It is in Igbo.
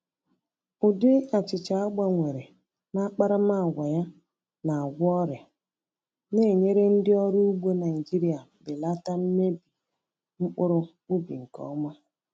Ụdị achịcha a gbanwere n’akparamàgwà ya na-agwọ ọrịa, na-enyere ndị ọrụ ugbo Naịjirịa belata mmebi mkpụrụ ubi nke ọma.